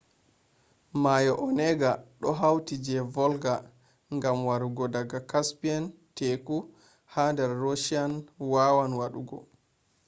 mayo onega do hauta je volga gam warugo daga caspian teku ha dar russia wawan wadugo